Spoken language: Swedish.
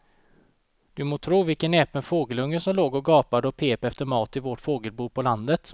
Du må tro vilken näpen fågelunge som låg och gapade och pep efter mat i vårt fågelbo på landet.